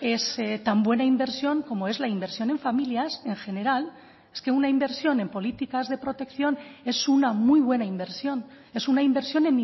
es tan buena inversión como es la inversión en familias en general es que una inversión en políticas de protección es una muy buena inversión es una inversión